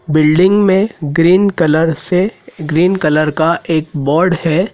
Building में green colour से green colour का एक बोर्ड हैं।